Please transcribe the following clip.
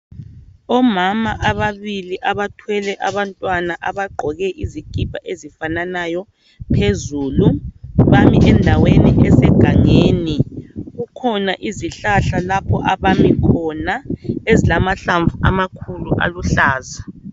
Omama ababili abathwele abantwana abagqoke izikipa ezifananayo phezulu bami endaweni esegangeni kukhona izihlahla lapho abami khona ezilamahlamvu amakhulu aluhlaza.